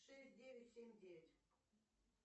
шесть девять семь девять